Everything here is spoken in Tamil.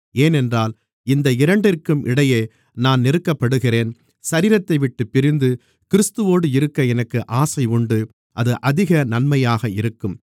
ஏனென்றால் இந்த இரண்டிற்கும் இடையே நான் நெருக்கப்படுகிறேன் சரீரத்தைவிட்டுப் பிரிந்து கிறிஸ்துவோடு இருக்க எனக்கு ஆசை உண்டு அது அதிக நன்மையாக இருக்கும்